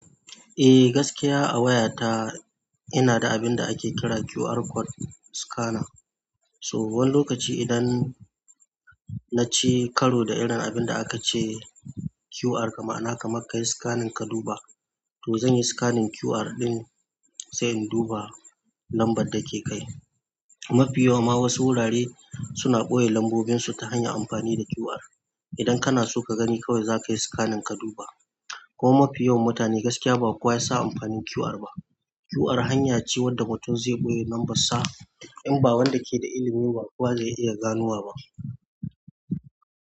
Eh, gaskiya a wayata ina da abin da ake kira QR code scanner. To wani lokaci idan naci karo da irin abinda aka ce QR, ka, ma'ana ka man ka yi scanning ka duba, to zan yi scanning QR ɗin sai in duba lambar da ke kai. Mafi yawa ma wasu wurare suna ɓoye lambobinsu ta hanyar amfani da QR. Idan kana so ka gani kawai zakayi scanning ka duba. Ko mafi yawan mutane gaskiya ba kowa ya sa amfanin QR ba. QR hanya ce wadda mutum zai ɓoye lambar sa in ba wanda ke da ilimi ba kuwa zai iya ganowa ba.